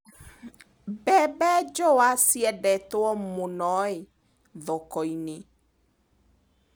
Mbembe njũa ciendetwo mũnoi thokoinĩ.